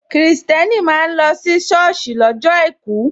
Kristẹni máa ń lọ si soosi lọ́jọ́ àìkú.